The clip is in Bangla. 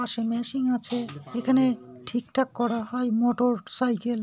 পাশে মেশিন আছে। এখানে ঠিকঠাক করা হয় মোটরসাইকেল ।